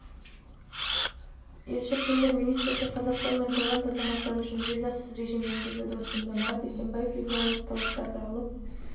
елші премьер-министрге қазақстан мен таиланд азаматтары үшін визасыз режим енгізуді ұсынды марат есенбаев визалық талаптарды алып